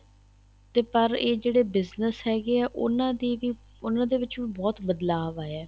ਤੇ ਪਰ ਇਹ ਜਿਹੜੇ business ਹੈਗੇ ਏ ਉਹਨਾ ਦੀ ਵੀ ਉਹਨਾ ਦੇ ਵਿੱਚ ਵੀ ਬਹੁਤ ਬਦਲਾਵ ਆਇਆ